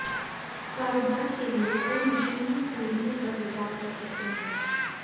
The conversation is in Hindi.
कारोबार के लिए कोई मशीनरी खरीदने पर विचार कर सकते हैं